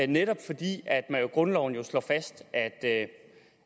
netop fordi grundloven jo slår fast at det